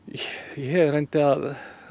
ég reyndi að